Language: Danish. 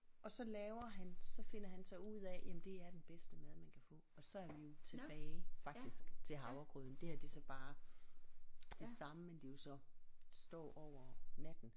Og så laver han så finder han så ud af jamen det er den bedste mad man kan få og så er vi jo tilbage faktisk til havregrøden det her det er så bare det samme men det er jo så står over natten